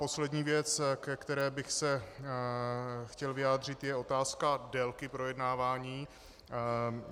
Poslední věc, ke které bych se chtěl vyjádřit, je otázka délky projednávání.